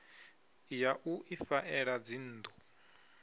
ya u ifha ela dzinnḓu